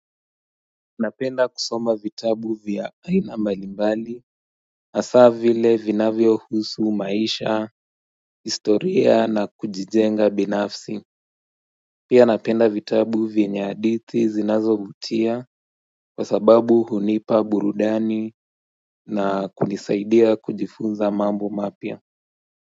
Unapenda kusoma vitabu vya aina mbalimbali hasa vile vinavyohusu maisha, historia na kujijenga binafsi Pia napenda vitabu vyenye hadithi zinazovutia kwa sababu hunipa burudani na kunisaidia kujifunza mambo mapya.